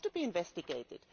This has to be investigated.